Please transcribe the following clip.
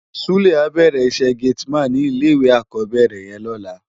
Sule á bèrè iṣè géti man ni ilé iwé ákòbèrè yèn lòlá